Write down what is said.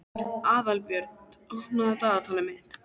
Aðalbjört, opnaðu dagatalið mitt.